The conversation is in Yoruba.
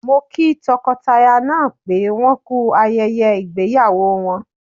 Mo kí tọkọtaya náà pé wọ́n ku ayẹyẹ ìgbéyàwó wọn.